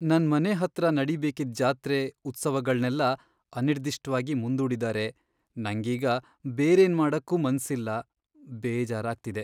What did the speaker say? ನನ್ಮನೆ ಹತ್ರ ನಡೀಬೇಕಿದ್ ಜಾತ್ರೆ, ಉತ್ಸವಗಳ್ನೆಲ್ಲ ಅನಿರ್ದಿಷ್ಟ್ವಾಗಿ ಮುಂದೂಡಿದಾರೆ, ನಂಗೀಗ ಬೇರೇನ್ ಮಾಡಕ್ಕೂ ಮನ್ಸಿಲ್ಲ.. ಬೇಜಾರಾಗ್ತಿದೆ.